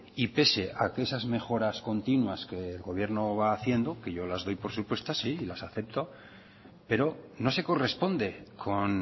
y pese que a esas mejoras continúas que el gobierno va haciendo que yo las doy por supuestas y las acepto pero no se corresponde con